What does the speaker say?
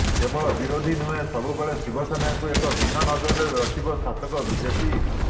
କେବଳ ବିରୋଧୀ ନୁହେଁ ସବୁବେଳେ ଶିବସେନାକୁ ଏକ ଭିନ୍ନ ନଜରରେ ରଖିବ ଶାସକ ବିଜେପି